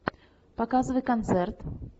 показывай концерт